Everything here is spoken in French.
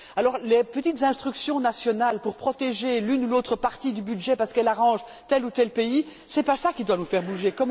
Alors, les petites instructions nationales visant à protéger l'une ou l'autre partie du budget, parce qu'elle arrange tel ou tel pays, ce n'est pas cela qui doit nous faire bouger.